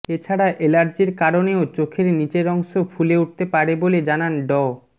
এ ছাড়া এলার্জির কারণেও চোখের নিচের অংশ ফুলে উঠতে পারে বলে জানান ড